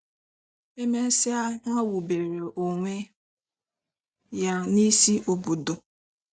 E mesịa ha wubere onwe ya n'isi obodo.